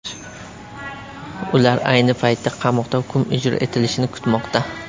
Ular ayni paytda qamoqda hukm ijro etilishini kutmoqda.